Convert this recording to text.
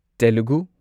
Telugu